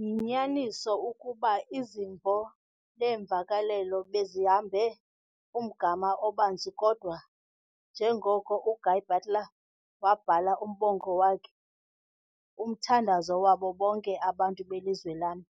Yinyaniso ukuba izimvo neemvakalelo bezihambe umgama obanzi kodwa njengoko uGuy Butler wabhala umbongo wakhe 'Umthandazo wabo bonke Abantu beLizwe lam'